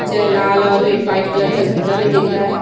च लाल और एक वाईट कलर का झंडा भी दिख रहा है।